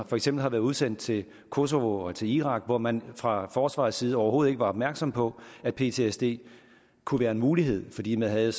for eksempel har været udsendt til kosova og til irak og man fra forsvarets side overhovedet ikke opmærksom på at ptsd kunne være en mulighed fordi man havde